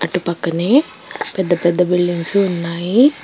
పక్కనే పెద్ద పెద్ద బిల్డింగ్స్ ఉన్నాయి.